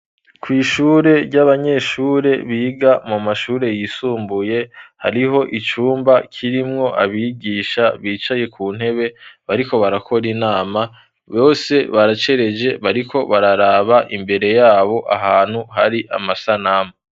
Kwishure ry'abanyeshure biga mu mashure yisumbuye .Hariho icumba kirimwo abigisha bicaye ku ntebe bariko barakora inama bose baracereje bariko bararaba imbere yabo ahantu hari amasanamu.